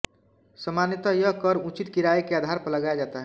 सामान्यत यह कर उचित किराए के आधार पर लगाया जाता है